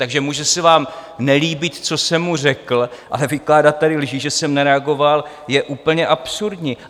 Takže může se vám nelíbit, co jsem mu řekl, ale vykládat tady lži, že jsem nereagoval, je úplně absurdní.